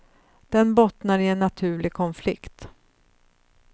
Den bottnar i en naturlig konflikt.